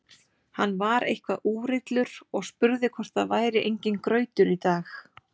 Hann var eitthvað úrillur og spurði hvort það væri enginn grautur í dag.